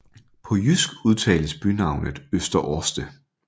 På jysk udtales bynavnet Øster Orste